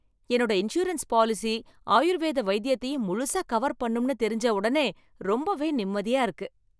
என்னோட insurance policy, ஆயுர்வேத வைத்தியத்தையும் முழுசா கவர் பண்ணும்னு தெரிஞ்ச ஒடனே ரொம்பவே நிம்மதியா இருக்கு.